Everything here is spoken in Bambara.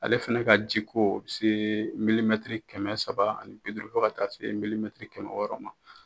Ale fɛnɛ ka jiko bɛ se kɛmɛ saba ani bi duuru fo ka taa se kɛmɛ wɔɔrɔ ma.